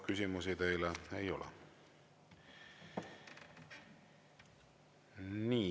Küsimusi teile ei ole.